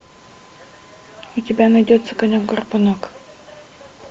у тебя найдется конек горбунок